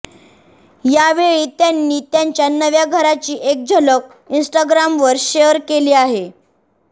यावेळी त्यांनी त्यांच्या नव्या घराची एक झलक इन्स्टाग्रामवर शेअर केली आहे